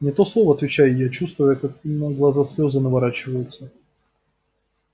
не то слово отвечаю я чувствуя как на глаза слезы наворачиваются